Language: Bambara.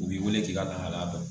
U b'i wele k'i ka lahala dɔn